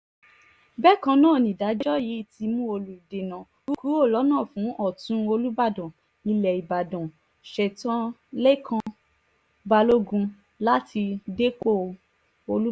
bákan náà nìdájọ́ yìí ti mú olùdènà kúrò lọ́nà fún ọ̀tún olùbàdàn ilẹ̀ ìbàdàn sè̩ǹtẹ̩̀ lèkàn balógun láti dépò olùbàdàn